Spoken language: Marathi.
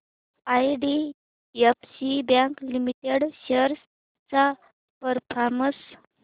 आयडीएफसी बँक लिमिटेड शेअर्स चा परफॉर्मन्स